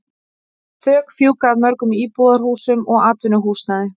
Þök fjúka af mörgum íbúðarhúsum og atvinnuhúsnæði.